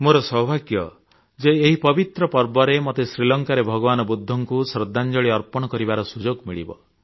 ମୋର ସୌଭାଗ୍ୟ ଯେ ଏହି ପବିତ୍ର ପର୍ବରେ ମତେ ଶ୍ରୀଲଙ୍କାରେ ଭଗବାନ ବୁଦ୍ଧଙ୍କୁ ଶ୍ରଦ୍ଧାଞ୍ଜଳି ଅର୍ପଣ କରିବାର ସୁଯୋଗ ମିଳିବ